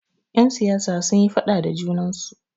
Yan siyasa sunyi faɗa da junansu.